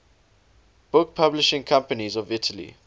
book publishing companies of italy